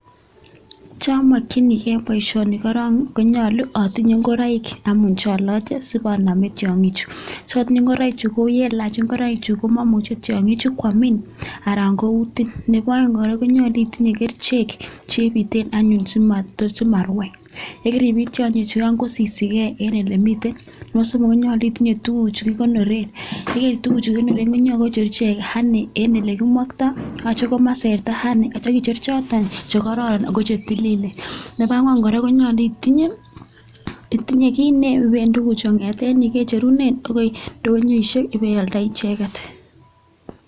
Chomokininge en boisioni korong konyolu atinye ngoroik anyun che oloche sibonome tiong'ichu. So otiye ngoroichu, ko yealach ngoroichu komomuche tiong'ichu koamin anan koutin. Nebo oeng kora konyolu itinye kerichek chebiten anyun simarwai. Ye keribiit tyong'ichu kosisige en ele miten. Nebo somok konyolu itinye tuguchu kigonoren. Ye keib tuguchu kigoneren kocheru ichek honey en ele kimokto ak kityo komaserta honey ak kityo kicher choto che kororon ago chetililen. Nebo angwan kora konyolu itinye, itinye kit neiben tuguchu kong'eten yu kecherunen agoi ndonyo ole ibeialdaen icheget.